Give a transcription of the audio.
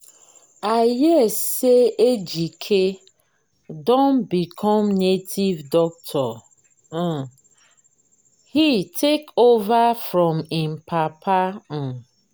i hear say ejike don become native doctor um he take over from im papa um